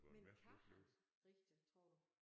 Men kan han rigtigt tror du?